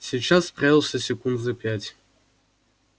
сейчас справился секунд за пять